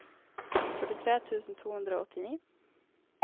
førtitre tusen to hundre og åttini